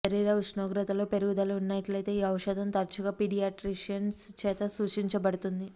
శరీర ఉష్ణోగ్రతలో పెరుగుదల ఉన్నట్లయితే ఈ ఔషధం తరచుగా పీడియాట్రిషియన్స్ చేత సూచించబడుతుంది